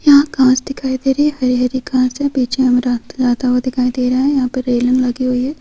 यहाँ घास दिखाई दे रही है हरी-हरी घास है पीछे में रस्ता जाता हुआ दिखाई दे रहा यहाँ पर रेलिंग लगी हुई है।